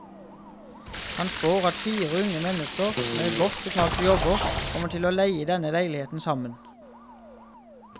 Han spår at fire unge mennesker med godt betalte jobber kommer til leie denne leiligheten sammen.